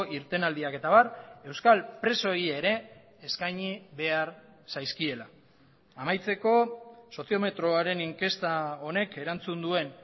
irtenaldiak eta abar euskal presoei ere eskaini behar zaizkiela amaitzeko soziometroaren inkesta honek erantzun duen